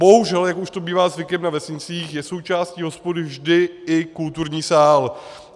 Bohužel, jak už to bývá zvykem na vesnicích, je součástí hospody vždy i kulturní sál.